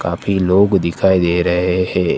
काफी लोग दिखाई दे रहे हैं।